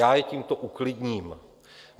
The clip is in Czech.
Já je tímto uklidním.